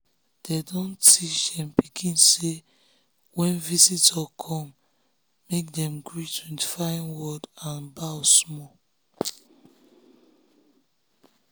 dey don teach dem pikin say when visitor come make dem greet with fine word and bow small.